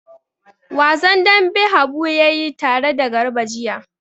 Wasan dambe Habu ya yi tare da Garba jiya.